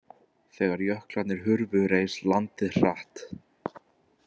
Þegar jöklarnir hurfu reis landið hratt.